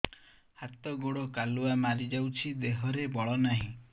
ହାତ ଗୋଡ଼ କାଲୁଆ ମାରି ଯାଉଛି ଦେହରେ ବଳ ନାହିଁ